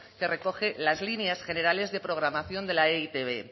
que recoge las líneas generales de programación de la e i te be